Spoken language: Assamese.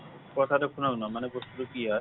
কথাটো শুনক না মানে বস্তুটো কি হয়।